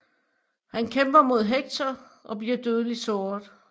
Han kæmper mod Hector og bliver dødeligt såret